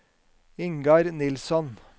Ingar Nilsson